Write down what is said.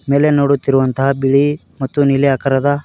ಮೇಲೆ ನೋಡುತ್ತಿರುವಂತಹ ಬಿಳಿ ಮತ್ತು ನೀಲಿ ಆಕಾರದ--